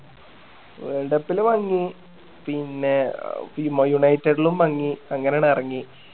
world cup ലും മങ്ങി പിന്നെ അഹ് മ united ലും മങ്ങി അങ്ങനെ ആണ് എറങ്ങി